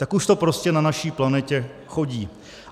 Tak už to prostě na naší planetě chodí.